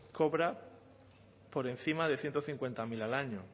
cobra por encima de ciento cincuenta mil al año